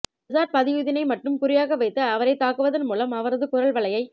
ரிஷாட் பதியுதீனை மட்டும் குறியாக வைத்து அவரை தாக்குவதன் மூலம் அவரது குரல் வளையை